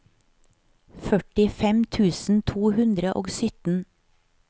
førtifem tusen to hundre og sytten